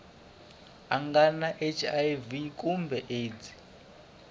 nga na hiv kumbe aids